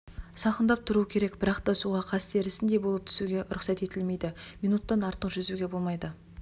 салқындап тұру керек бірақта суға қаз терісіндей болып түсуге рұқсат етілмейді минуттан артық жүзуге болмайды